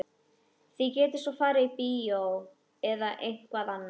Þið getið svo farið á bíó eða eitthvað annað.